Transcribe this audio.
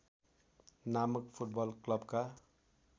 नामक फुटबल क्लबका